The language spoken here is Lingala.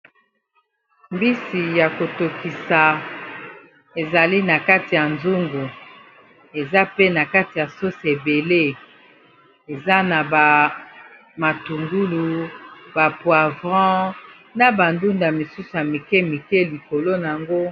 Mbisi ya kotokisa ezali na kati ya nzungu eza pe na kati ya sose ebele eza na ba matungulu, ba poivron, na ba ndunda misusu ya mike mike likolo na yango.